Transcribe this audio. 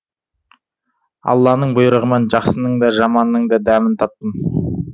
алланың бұйрығымен жақсының да жаманның да дәмін таттым